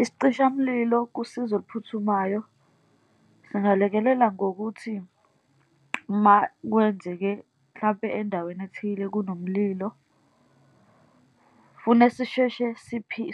Isicishamlilo kusizo oluphuthumayo singalekelela ngokuthi, uma kwenzeke, mhlampe endaweni ethile kunomlilo, fune sisheshe